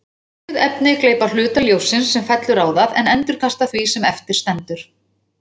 Lituð efni gleypa hluta ljóssins sem fellur á það en endurkasta því sem eftir stendur.